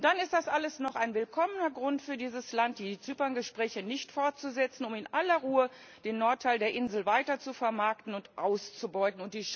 Und dann ist das alles noch ein willkommener Grund für dieses Land, die Zypern Gespräche nicht fortzusetzen, um in aller Ruhe den Nordteil der Insel weiter zu vermarkten und auszubeuten.